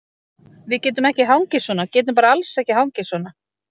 Við getum ekki hangið svona, getum bara alls ekki hangið svona.